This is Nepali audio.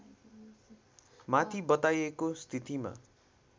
माथि बताइएको स्थितिमा